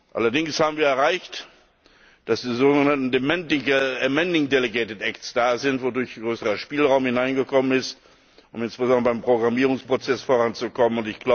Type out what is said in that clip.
Allerdings haben wir erreicht, dass die sogenannten amending delegated acts da sind, wodurch größerer Spielraum hineingekommen ist, um insbesondere beim Programmierungsprozess voranzukommen.